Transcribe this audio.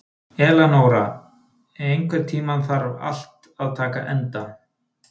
Eleonora, einhvern tímann þarf allt að taka enda.